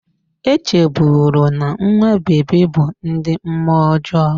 E chebụrụ na nwa bebi bụ ndị mmụọ ọjọọ